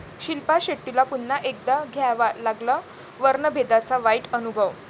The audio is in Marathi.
शिल्पा शेट्टीला पुन्हा एकदा घ्यावा लागला वर्णभेदाचा वाईट अनुभव